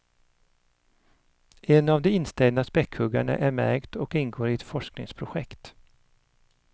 En av de instängda späckhuggarna är märkt och ingår i ett forskningsprojekt.